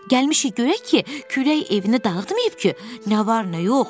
Gəlmişik görək ki, külək evini dağıtmayıb ki, nə var nə yox.